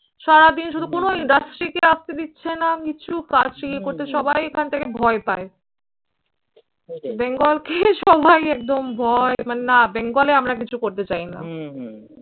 সারাদিন শুধু কোনো industry কে আসতে দিচ্ছে না। কিছু ইয়ে করতে সবাই এখান থেকে ভয় পায়। বেঙ্গলকে সবাই একদম ভয় মানে না বেঙ্গলে আমরা কিছু করতে চাই না।